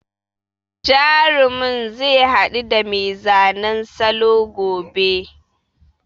Jarumin zai haɗu da mai zanen salo gobe.